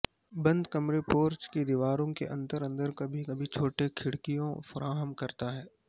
بند کمرے پورچ کی دیواروں کے اندر اندر کبھی کبھی چھوٹے کھڑکیوں فراہم کرتا ہے